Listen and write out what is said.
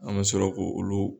An me sɔrɔ k'o olu